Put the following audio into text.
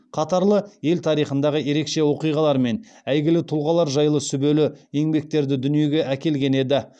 қатарлы ел тарихындағы ерекше оқиғалар мен әйгілі тұлғалар жайлы сүбелі еңбектерді дүниеге әкелген еді